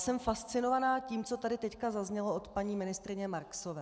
Jsem fascinována tím, co tady teď zaznělo od paní ministryně Marksové.